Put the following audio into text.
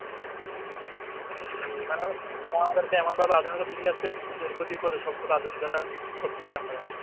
জি মানে ওরা আমাদেরকে এমন ভাবে আধুনিকতা শেখাচ্ছে যে ওর ক্ষতি করে সব গুলো আধুনিকতাকরতেছি আমরা